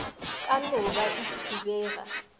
ka no be e thibega